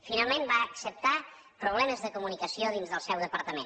finalment va acceptar problemes de comunicació dins del seu departament